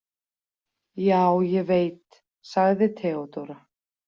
Já, ég veit, sagði Theodóra.